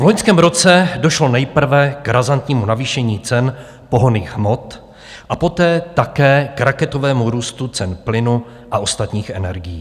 V loňském roce došlo nejprve k razantnímu navýšení cen pohonných hmot a poté také k raketovému růstu cen plynu a ostatních energií.